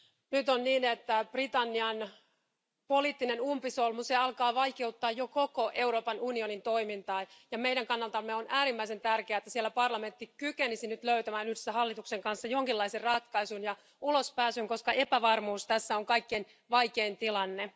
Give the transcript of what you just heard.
Nyt on niin, että Britannian poliittinen umpisolmu alkaa vaikeuttaa jo koko Euroopan unionin toimintaa, ja meidän kannaltamme on äärimmäisen tärkeää, että siellä parlamentti kykenisi nyt löytämään yhdessä hallituksen kanssa jonkinlaisen ratkaisun ja ulospääsyn, koska epävarmuus tässä on kaikkein vaikein tilanne.